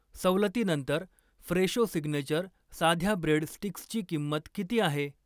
सवलतीनंतर Fresho signature साध्या bread स्टिक्सची किंमत किती आहे?